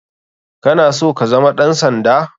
Kana so kazama ɗan sanda?